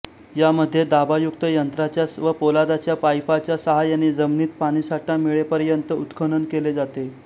यामध्ये दाबायुक्त यंत्राच्या व पोलादाच्या पाईपांच्या साहाय्याने जमीनीत पाणीसाठा मिळेपर्यंत उत्खनन केले जाते